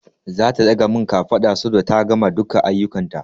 Zata ɗaga min kafada saboda ta gama duka aiyukan ta